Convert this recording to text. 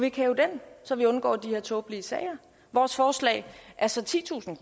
ikke hæve den så vi undgår de her tåbelige sager vores forslag er så titusind